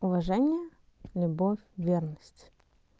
уважение любовь верность